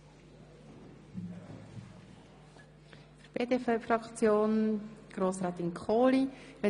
Als nächste Fraktionssprecherin hat Grossrätin Kohli das Wort.